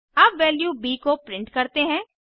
अब वैल्यू ब को प्रिंट करते हैं